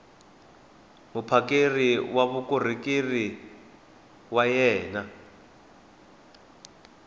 muphakeri wa vukorhokeri wa wena